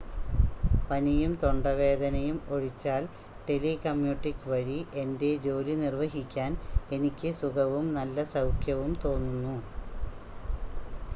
പനിയും തൊണ്ടവേദനയും ഒഴിച്ചാൽ, ടെലികമ്യൂട്ടിംഗ് വഴി എന്റെ ജോലി നിർവഹിക്കാൻ എനിക്ക് സുഖവും നല്ല സൗഖ്യവും തോന്നുന്നു